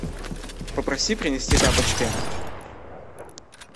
попроси принести тапочки